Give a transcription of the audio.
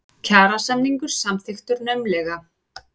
Kjarasamningur samþykktur naumlega